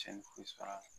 Cɛnni foyi sɔrɔ a la